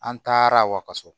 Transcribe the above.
An taara wakaso